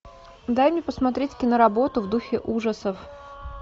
дай мне посмотреть киноработу в духе ужасов